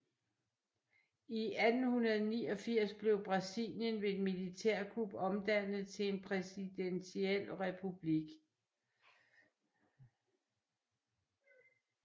I 1889 blev Brasilien ved et militærkup omdannet til en præsidentiel republik